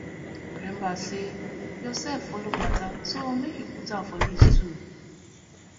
remmba sey urself follow mata so mek yu put am for list too